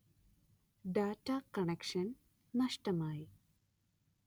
data connection നഷ്ടമായി